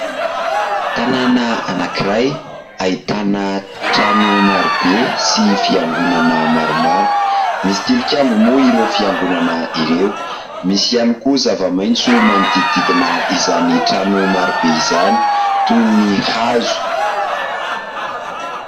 Tanàna anankiray ahitana trano marobe sy fiangonana maromaro. Misy tilikambo moa ireo fiangonana ireo. Misy ihany koa zava-maitso manodididina izany trano marobe izany toy ny hazo.